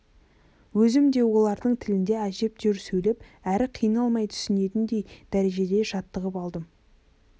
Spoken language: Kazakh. өзім де олардың тілінде әжептәуір сөйлеп әрі қиналмай түсінетіндей дәрежеде жаттығып алдым